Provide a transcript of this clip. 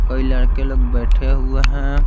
कई लड़के लोग बैठे हुए हैं।